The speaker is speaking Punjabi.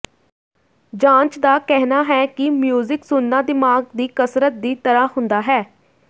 ਜਾਂਚ ਦਾ ਕਹਿਣਾ ਹੈ ਕਿ ਮਿਊਜ਼ਿਕ ਸੁਣਨਾ ਦਿਮਾਗ਼ ਦੀ ਕਸਰਤ ਦੀ ਤਰ੍ਹਾਂ ਹੁੰਦਾ ਹੈ